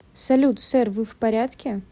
салют сэр вы в порядке